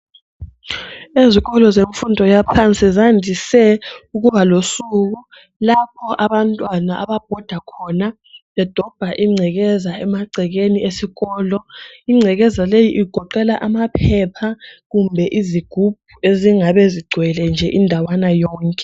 Ezikolo zemfundo yaphansi zandise ukuba losuku lapho abantwana ababhoda khona bedobha ingcekeza emagcekeni esikolo ingcekeza leyi igoqela amaphepha kumbe izigubhu ezingabe ezigcwele nje indawana yonke